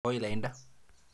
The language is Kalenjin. Koi lainda.